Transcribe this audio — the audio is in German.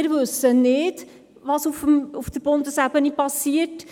Wir wissen jedoch nicht, was auf Bundesebene geschehen wird.